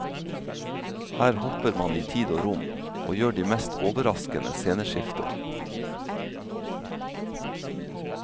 Her hopper man i tid og rom, og gjør de mest overraskende sceneskifter.